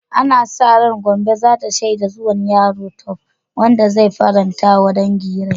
Ana sa ran Gombe za ta shaida zuwan yaro Tope, wanda zai faranta wa dangi reai.